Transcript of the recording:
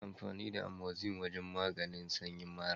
Ana amfani da Amoxin wajen maganin sanyin mara.